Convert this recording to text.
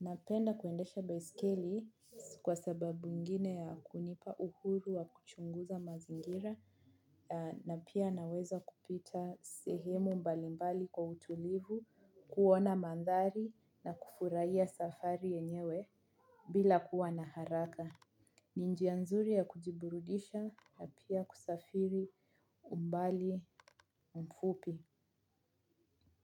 Napenda kuendesha baiskeli, kwa sababu ingine ya kunipa uhuru wa kuchunguza mazingira. Na pia naweza kupita sehemu mbalimbali kwa utulivu, ku uona madhari na kufurahia safari yenyewe, bila kuwa na haraka. Ni njia nzuri ya kujiburudisha na pia kusafiri umbali, mfupi.